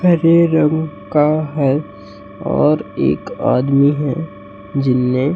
हरे रंग का है और एक आदमी है जिन्हें--